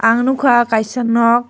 ang nugkha aw kaisa nok.